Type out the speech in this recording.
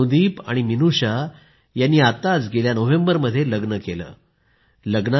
अनुदीप आणि मिनूषा यांनी आताच गेल्या नोव्हेंबर मध्ये लग्न केलं आहे